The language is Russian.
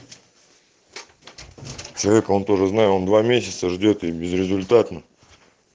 человек он тоже знаю он два месяца ждёт и безрезультатно